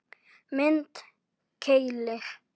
Mynd: Keilir